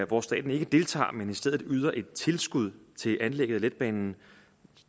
hvor staten ikke deltager men i stedet yder et tilskud til anlægget af letbanen